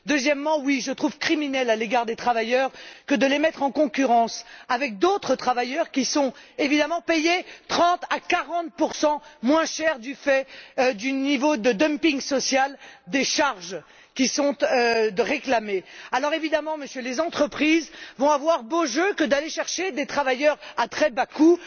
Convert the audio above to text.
Deuxièmement, oui, je trouve criminel à l'égard des travailleurs de les mettre en concurrence avec d'autres travailleurs qui sont, évidemment, payés 30 à 40 moins cher du fait du niveau de dumping social, des charges qui sont réclamées. Alors, évidemment, les entreprises vont avoir beau jeu d'aller chercher des travailleurs à très bas coûts.